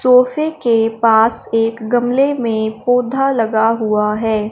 सोफे के पास एक गमले में पौधा लगा हुआ है।